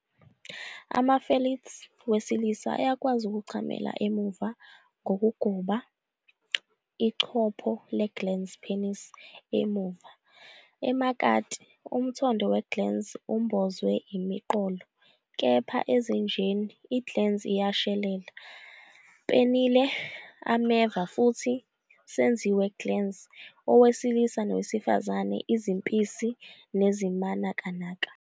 Ama- felids wesilisa ayakwazi ukuchamela emuva ngokugoba ichopho le-glans penis emuva. Emakati, umthondo we-glans umbozwe imiqolo, kepha ezinjeni, i-glans iyashelela. Penile ameva futhi senziwe glans owesilisa nowesifazane izimpisi nezimanakanaka.